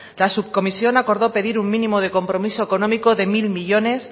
la subcomisión acordó pedir un mínimo de compromiso económico de mil millónes